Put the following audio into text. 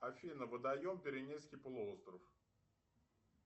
афина водоем пиренейский полуостров